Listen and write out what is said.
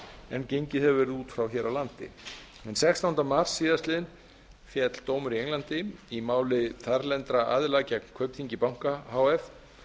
en gengið hefur verið út frá hér á landi hinn sextánda mars síðastliðinn féll dómur í englandi í máli þarlendra aðila gegn kaupþingi banka h f